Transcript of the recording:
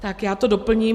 Tak já to doplním.